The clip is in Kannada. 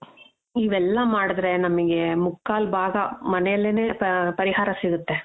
ಇವೆಲ್ಲ ಮಾಡಿದ್ರೆ ನಮಿಗೆ ಮುಕ್ಕಾಲ್ ಭಾಗ ಮನೆಲೆನೆ ಪರಿಹಾರ ಸಿಗುತ್ತೆ.